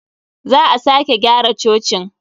Za a sake gyara cocin.